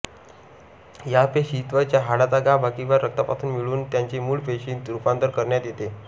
या पेशी त्वचा हाडाचा गाभा किंवा रक्तापासून मिळवून त्यांचे मूळ पेशींत रूपांतर करण्यात येते